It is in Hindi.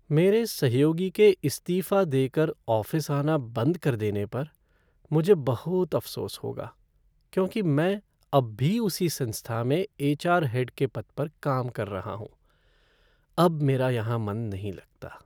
मेरे सहयोगी के इस्तीफ़ा देकर ऑफ़िस आना बंद कर देने पर मुझे बहुत अफ़सोस होगा क्योंकि मैं अब भी उसी संस्था में एच.आर. हेड के पद पर काम कर रहा हूँ। अब मेरा यहाँ मन नहीं लगता।